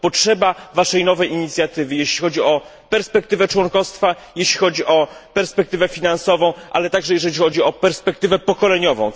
Potrzeba Waszej nowej inicjatywy, jeśli chodzi o perspektywę członkostwa, jeśli chodzi o perspektywę finansową, ale także jeśli chodzi o perspektywę pokoleniową.